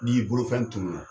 N' i bolofɛn tunun na